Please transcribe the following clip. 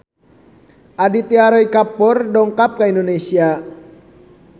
Aditya Roy Kapoor dongkap ka Indonesia